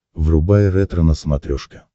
врубай ретро на смотрешке